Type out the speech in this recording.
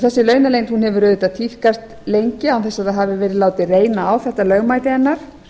þessi launaleynd hefur auðvitað tíðkast lengi án þess að það hafi verið látið reyna á þetta lögmæti hennar